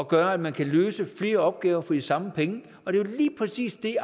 gør at man kan løse flere opgaver for de samme penge og det er jo lige præcis det